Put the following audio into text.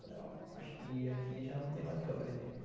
Falei, ó, acho que aqui já não tem mais o que eu aprender.